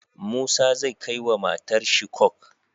Musa zai kai wa matar shi coke